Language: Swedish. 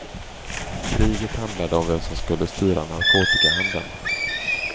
Kriget handlade om vem som skulle styra narkotikhandeln.